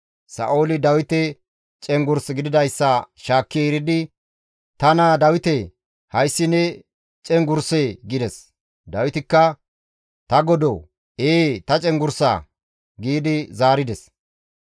Sa7ooli Dawite cenggurs gididayssa shaakki eridi, «Ta naa Dawite! Hayssi ne cenggurssee?» gides. Dawitikka, «Ta godoo, ee ta cenggurssa» gi zaarides.